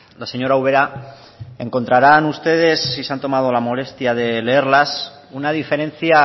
la señora ubera encontrarán ustedes si se han tomado la molestia de leerlas una diferencia